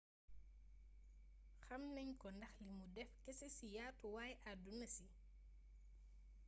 xamnagn ko ndax lii mou deff keese ci yatuway aduna si